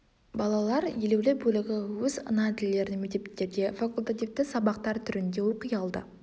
балалар елеулі бөлігі өз ана тілдерін мектептерде факультативті сабақтар түрінде оқи алады